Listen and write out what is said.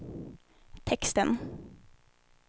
texten